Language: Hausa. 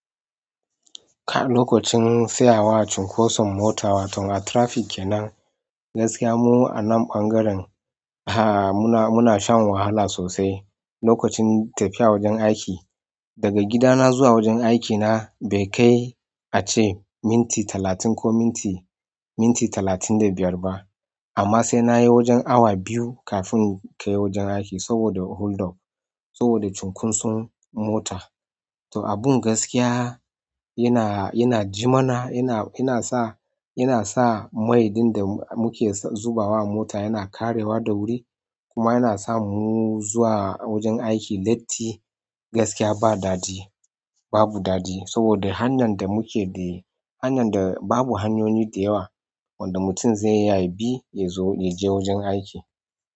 Ka lokacin tsayawa a cunkoson mota wato a traffic kenan, gaskiya mu a nan ɓangaren, ah muna, muna shan wahala sosai. Lokacin tafiya wajen aiki, daga gida na zuwa wajen aiki na bai kai ace minti talatin ko minti, minti talatin da biyar ba. Amma sai na yi wajen awa biyu kafin in kai wajen aiki saboda holdup, saboda cunkoson mota. To abun gaskiya yana, yana jimana, yana, yana sa, yana sa mai ɗin da muke zubawa mota yana ƙarewa da wuri. Kuma yana sa mu zuwa wajen aiki latti, gaskiya ba daɗi, babu daɗi. Saboda hanyan da muke de, hanyar da babu hanyoyi da yawa wanda mutum zai iya yabi ya zo, ya je wajen aiki.